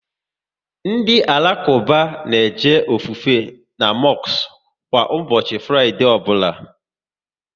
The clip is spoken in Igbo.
Ndị Alakuba na eje ofufe n' mosku kwa ụbọchị Fraịdee ọbụla